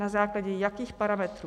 Na základě jakých parametrů?